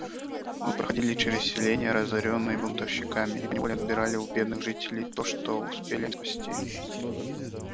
мы проходили через селения разорённые бунтовщиками и поневоле отбирали у бедных жителей то что успели они спасти